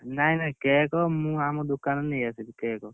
ନାଇ ନାଇ cake ମୁଁ ଆମ ଦୋକାନରୁ ନେଇ ଆସିମି cake